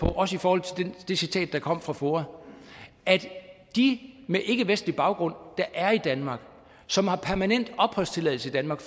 er også i forhold til det citat fra foa at de med ikkevestlig baggrund der er i danmark som har permanent opholdstilladelse i danmark